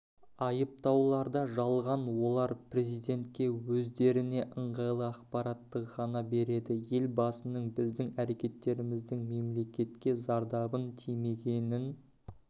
айыптауларда жалған олар президентке өздеріне ыңғайлы ақпаратты ғана береді елбасының біздің әрекеттеріміздің мемлекетке зардабын тимегенін